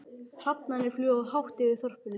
Hrafnarnir fljúga hátt yfir þorpinu.